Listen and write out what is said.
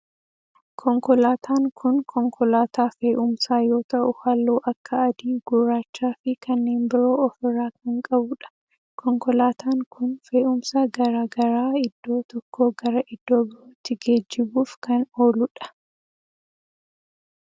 Konkolaatan kun konkolaataa fe'umsaa yoo ta'u halluu akka adii, gurraachaa fi kanneen biroo of irraa kan qabudha. Konkolaataan kun fe'umsa garaa garaa iddoo tokkoo gara iddoo birootti geejjibuf kan ooludha.